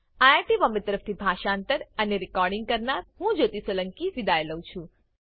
IIT Bombay તરફથી હું જ્યોતી સોલંકી વિદાય લઉં છું